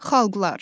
Xalqlar.